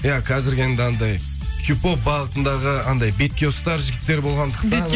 иә қазіргі енді анандай хип хоп бағытындағы анандай бетке ұстар жігіттер болғандықтан